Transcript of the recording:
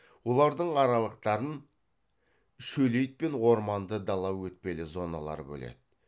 олардың аралықтарын шөлейт пен орманды дала өтпелі зоналары бөледі